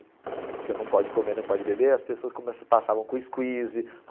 Porque não pode comer, nem pode beber, as pessoas comece passavam com squeeze.